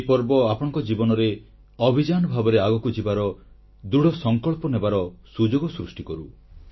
ଏହି ପର୍ବ ଆପଣଙ୍କ ଜୀବନରେ ଅଭିଯାନ ଭାବରେ ଆଗକୁ ଯିବାର ଦୃଢ଼ସଂକଳ୍ପ ନେବାର ସୁଯୋଗ ସୃଷ୍ଟି କରୁ